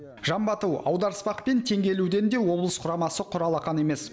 жамбы ату аударыспақ пен теңге ілуден де облыс құрамасы құр алақан емес